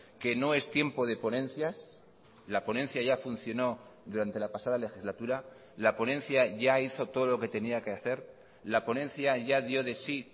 que no es tiempo de ponencias la ponencia ya funcionó durante la pasada legislatura la ponencia ya hizo todo lo que tenía que hacer la ponencia ya dio de sí